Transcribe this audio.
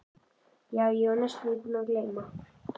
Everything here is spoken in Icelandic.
Já, ég var næstum búin að gleyma.